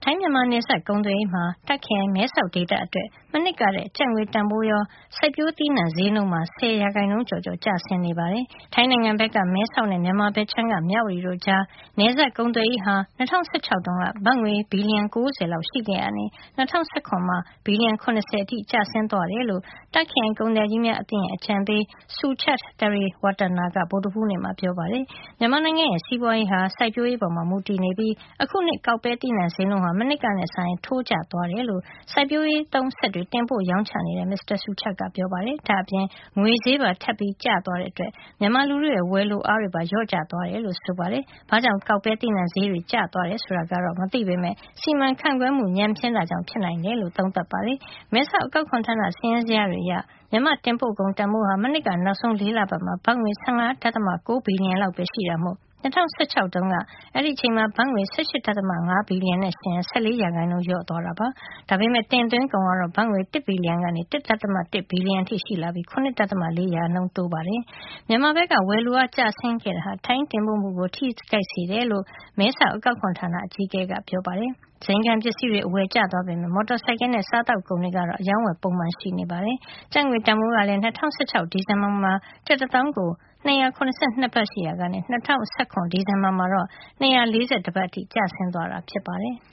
ိုင်းမြန်မာ နယ်စပ် ကုန်သွယ်ရေးမှာ Tak ခရိုင် မဲဆောက်ဒေသအတွက် မနှစ်ကထက် ကျပ်ငွေ တန်ဖိုးရော စိုက်ပျိုးသီးနှံဈေးနှုန်းပါ ၁၀ ရာခိုင်နှုန်းကျော်ကျော် ကျဆင်းနေပါတယ်။ ထိုင်းနိုင်ငံဘက်က မဲဆောက်နဲ့ မြန်မာဘက်ခြမ်းက မြဝတီ တို့ကြား နယ်စပ်ကုန်သွယ်ရေးဟာ ၂၀၁၆ တုန်းက ဘတ်ငွေ ဘီလျံ ၉၀ လောက်ရှိ ခဲ့ရာကနေ ၂၀၁၇ ခုနှစ်မှာတော့ ဘီလျံ ၇၀ အထိ ကျဆင်းသွားတယ်လို့ Tak ခရိုင်ကုန်သည်ကြီးများ အသင်းရဲ့ အကြံပေး Suchart Triratwattana က ဗုဒ္ဓဟူးနေ့မှာ ပြောပါတယ်။ မြန်မာ့နိုင်ငံရဲ့ စီးပွါးရေးဟာ စိုက်ပျိုးရေးပေါ် မူတည်နေပြီး အခုနှစ် ကောက်ပဲသီးနှံ ဈေးနှုန်းဟာ မနှစ်ကနဲ့စာရင် ထိုးကျသွားတယ်လို့ စိုက်ပျိုးရေးသုံး စက်တွေ တင်ပို့ ရောင်းချနေတဲ့ မစ္စတာ Suchart က ပြောပါတယ်။ ဒါ့အပြင် ငွေဈေးပါ ထပ်ကျသွားတာကြောင့် မြန်မာလူထုရဲ့ ဝယ်လိုအားတွေပါ လျော့ကျ သွားတယ်လို့ ဆိုပါတယ်။ ဘာ့ကြောင့် ကောက်ပဲသီးနှံဈေးတွေ ကျသွားတယ် ဆိုတာ သေသေချာချာ မသိပေမယ့် စီမံခန့်ခွဲမှု ညံ့ဖျင်းတာကြောင့် ဖြစ်နိုင်တယ်လို့ သုံးသပ်ပါတယ်။ မဲဆောက် အကောက်ခွန်ဌာန စာရင်းဇယား တွေအရ မြန်မာ့ တင်ပို့ကုန် တန်ဖိုးဟာ မနှစ်က နောက်ဆုံး ၄ လပတ်မှာ ဘတ်ငွေ ၁၅. ၉ ဘီလျံလောက်ပဲ ရှိတာမို့ ၂၀၁၆ တုန်းက အဲဒီအချိန်မှာ ဘတ်ငွေ ၁၈.၅ ဘီလျံနဲ့ ယှဉ်ရင် ၁၄ % လျော့ကျသွားတာ ဖြစ်ပါတယ်။ ဒါပေမယ့် တင်သွင်းကုန်ကတော့ ဘတ်ငွေ ၁ ဘီလျံကနေ ၁.၁ ဘီလျံရှိလာပြီး ၇.၄ % တိုးခဲ့တာပါ။ မြန်မာဘက်က ဝယ်လိုအား ကျဆင်းသွားတာဟာ ထိုင်း တင်ပို့မှုကို ထိခိုက်စေတယ်လို့ မဲတောက် အကောက်ခွန်ဌာန အကြီးအကဲ ကပြောပါတယ်။ ဇိမ်ခံပစ္စည်းတွေ အဝယ်ကျသွားပေမယ့် မော်တော်ဆိုင်ကယ်နဲ့ စားသောက်ကုန်တွေကတော့ အရောင်းအဝယ်ပုံမှန်ရှိနေ တယ်လု့ိဆိုပါတယ်။ ကျပ်ငွေ တန်ဖိုးကလည်း ၂၀၁၆ ဒီဇင်ဘာမှာ ကျပ် တသောင်းကို ၂၇၂ ဘတ်ရှိရာကနေ ၂၀၁၇ ဒီဇင်ဘာမှာတော့ ၂၄၁ ဘတ် အထိ ကျသွားတာ ဖြစ်ပါတယ်။